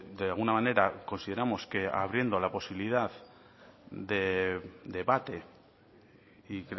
de alguna manera consideramos que abriendo la posibilidad de debate y